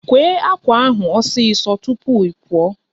Kwee ákwà ahụ osi so tupu ị pụọ!